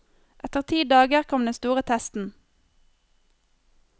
Etter ti dager kom den store testen.